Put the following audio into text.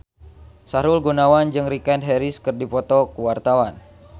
Sahrul Gunawan jeung Richard Harris keur dipoto ku wartawan